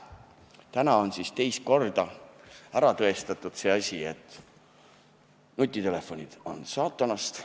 Täna on siis teist korda ära tõestatud see, et nutitelefonid on saatanast.